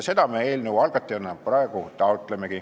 Seda me eelnõu algatajatena praegu taotlemegi.